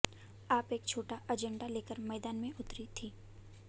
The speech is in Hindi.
आप एक छोटा एजेंडा लेकर मैदान में उतरी थी